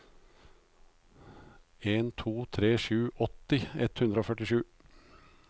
en to tre sju åtti ett hundre og tjuesju